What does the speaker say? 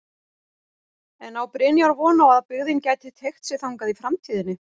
En á Brynjar von á að byggðin gæti teygt sig þangað í framtíðinni?